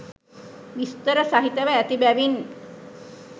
විස්තර සහිතව ඇති බැවින්